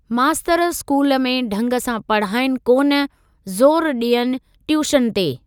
मास्तर स्कूल में ढंग सां पढाईनि कोन, ज़ोरु डि॒यनि ट्यूशन ते।